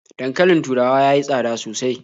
Dankalin taurawa ya yi tsada sosai.